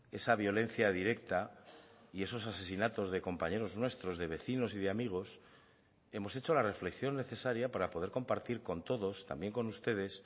esa violencia directa y esos asesinatos de compañeros nuestros de vecinos y de amigos hemos hecho la reflexión necesaria para poder compartir con todos también con ustedes